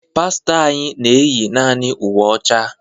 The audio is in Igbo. Pastọ anyị na eyi naanị uwe ọcha.